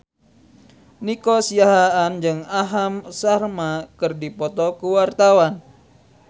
Nico Siahaan jeung Aham Sharma keur dipoto ku wartawan